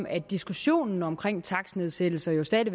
at diskussionen om takstnedsættelser stadig